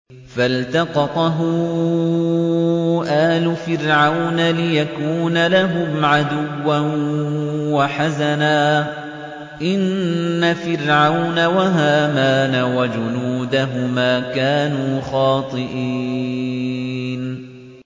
فَالْتَقَطَهُ آلُ فِرْعَوْنَ لِيَكُونَ لَهُمْ عَدُوًّا وَحَزَنًا ۗ إِنَّ فِرْعَوْنَ وَهَامَانَ وَجُنُودَهُمَا كَانُوا خَاطِئِينَ